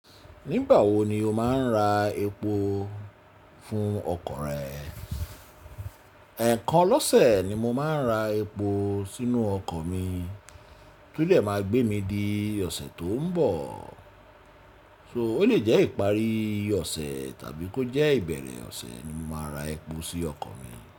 Nígbà wo ni o máa ń ra epo fún ọkọ̀ rẹ? Ẹ̀ẹ̀kan lọ́sẹ̀ ni mo máa ń ra epo sínú ọkọ̀ mi, tó dè máa gbé mi di ọ̀sẹ̀ tó ń bọ̀. So ó lè jẹ́ ìparí ọ̀sẹ̀ tàbí kó jẹ́ ìbẹ̀rẹ̀ ọ̀sẹ̀ ni mo máa ra epo sí ọkọ̀ mi.